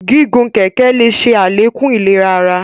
Gígùn kẹkẹ le ṣe alekun ìlera àrà